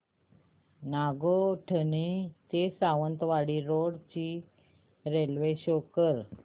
नागोठणे ते सावंतवाडी रोड ची railway show कर